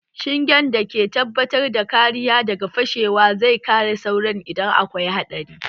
Shingen da ke tabbatar da kariya daga fashewa zai kare sauran idan akwai haɗari